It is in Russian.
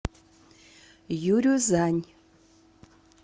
юрюзань